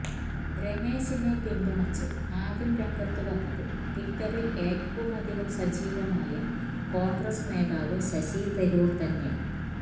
രമേശിനെ പിന്തുണച്ച് ആദ്യം രംഗത്തുവന്നത് ട്വിറ്ററില് ഏറ്റവുമധികം സജീവമായ കോണ്ഗ്രസ് നേതാവ് ശശി തരൂര് തന്നെ